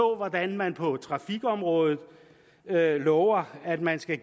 hvordan man på trafikområdet lover at man skal